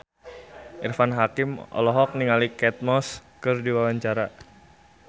Irfan Hakim olohok ningali Kate Moss keur diwawancara